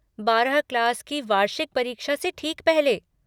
बारह क्लास की वार्षिक परीक्षा से ठीक पहले।